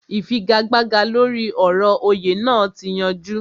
Ìfigagbága lóri ọ̀rọ̀ òyè naa ti yanjú